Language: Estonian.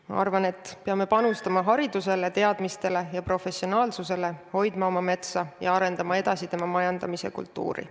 Ma arvan, et me peame panustama haridusele, teadmistele ja professionaalsusele, hoidma oma metsa ja arendama edasi tema majandamise kultuuri.